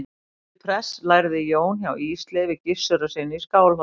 til prests lærði jón hjá ísleifi gissurarsyni í skálholti